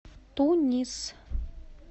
тунис